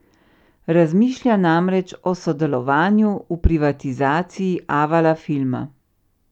Razmišlja namreč o sodelovanju v privatizaciji Avala filma.